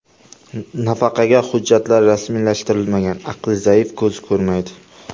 Nafaqaga hujjatlar rasmiylashtirilmagan, aqli zaif, ko‘zi ko‘rmaydi.